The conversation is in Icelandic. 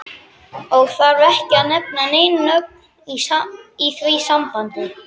Og þarf ekki að nefna nein nöfn í því sambandi.